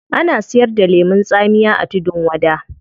Ana siyar da lemun tsamiya a tudun wada